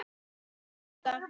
Verð að rjúka.